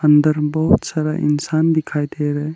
अंदर बहोत सारा इंसान दिखाई दे रहा --